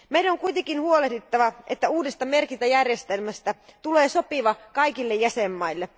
Meidän on kuitenkin huolehdittava, että uudesta merkintäjärjestelmästä tulee sopiva kaikille jäsenvaltioille.